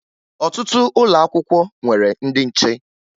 Ọtụtụ ụlọ akwụkwọ nwere ndị nche